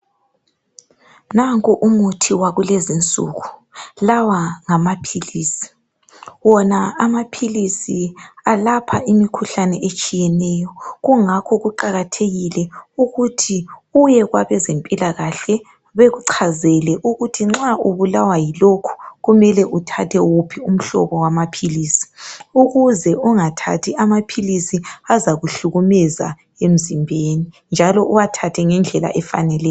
Nanko umuthi wakulezinsuku. Lawa ngamaphilisi, wona amaphilisi alapha imikhuhlane etshiyeneyo, kungakho kuqakathekile ukuthi uye kwabezempilakahle bekuchazele ukuthi nxa ubulawa yilokhu kumele uthathe wuphi umhlobo wamaphilisi. Ukuze ungathathi amaphilisi azakuhlukumeza emzimbeni njalo uwathathe ngendlela efaneleyo.